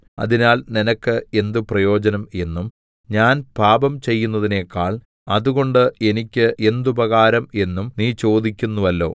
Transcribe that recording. അതിനാൽ നിനക്ക് എന്ത് പ്രയോജനം എന്നും ഞാൻ പാപം ചെയ്യുന്നതിനേക്കാൾ അതുകൊണ്ട് എനിക്ക് എന്തുപകാരം എന്നും നീ ചോദിക്കുന്നുവല്ലോ